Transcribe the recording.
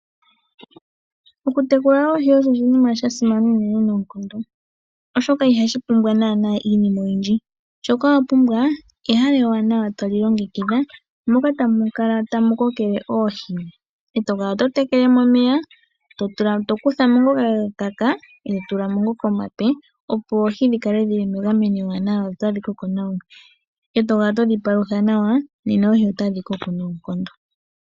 Okutekula oohi osho oshinima shimwe sha simana noonkondo, oshoka ihashi ningwa nana iinima oyindji, shoka wapumbwa ehala ewanawa toli longekidha moka tamu kala tamukokele oohi to tulamo omeya gwee toga kuthamo uuna gakaka, to tulamo ishiwe omape opo oohi dhikale dhili megameno ewanawa, ngele owedhipalutha nawa nena oohi otadhi kokelele nawa noonkondo.